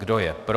Kdo je pro.